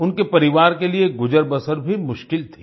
उनके परिवार के लिए गुजरबसर भी मुश्किल थी